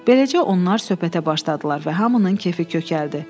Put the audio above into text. Beləcə onlar söhbətə başladılar və hamının kefi kökəldi.